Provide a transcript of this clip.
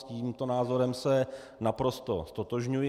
S tímto názorem se naprosto ztotožňuji.